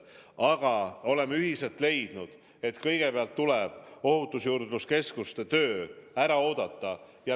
Aga me oleme ühiselt leidnud, et kõigepealt tuleb ohutusjuurdluse keskuste töö ära oodata.